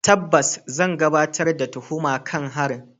Tabbas, zan gabatar da tuhuma kan harin.